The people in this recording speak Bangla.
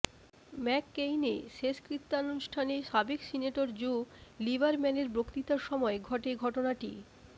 ম্যাককেইনে শেষকৃত্যানুষ্ঠানে সাবেক সিনেটর জো লিবারম্যানের বক্তৃতার সময় ঘটে ঘটনাটি